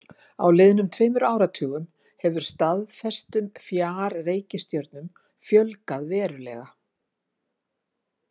Á liðnum tveimur áratugum hefur staðfestum fjarreikistjörnum fjölgað verulega.